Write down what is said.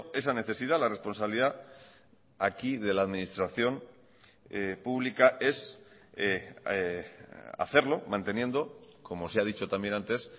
esa necesidad la responsabilidad aquí de la administración pública es hacerlo manteniendo como se ha dicho también antes